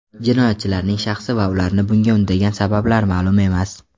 Jinoyatchilarning shaxsi va ularni bunga undagan sabablar ma’lum emas.